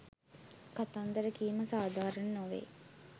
කතාන්දර කීම සාධාරණ නොවේ.